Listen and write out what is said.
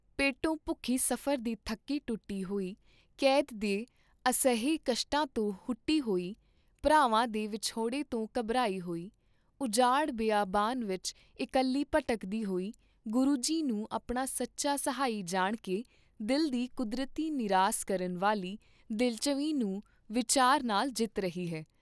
ਪੇਟੋਂ ਭੁਖੀ ਸਫਰ ਦੀ ਥੱਕੀ ਟੁੱਟੀ ਹੋਈ ਕੈਦ ਦੇ ਅਸਹਿ ਕਸ਼ਟਾਂ ਤੋਂ ਹੁਟੀ ਹੋਈ, ਭਰਾਵਾਂ ਦੇ ਵਿਛੋੜੇ ਤੋਂ ਘਾਬਰੀ ਹੋਈ, ਉਜਾੜ ਬੀਆਬਾਨ ਵਿਚ ਇਕੱਲੀ ਭਟਕਦੀ ਹੋਈ ਗੁਰੂ ਜੀ ਨੂੰ ਆਪਣਾ ਸੱਚਾ ਸਹਾਈ ਜਾਣਕੇ ਦਿਲ ਦੀ ਕੁਦਰਤੀ ਨਿਰਾਸ ਕਰਨ ਵਾਲੀ ਦਿਲਝਵੀਂ ਨੂੰ ਵਿਚਾਰ ਨਾਲ ਜਿੱਤ ਰਹੀ ਹੈ।